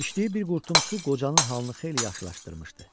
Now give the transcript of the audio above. İçdiyi bir qurtum su qocanın halını xeyli yaxşılaşdırmışdı.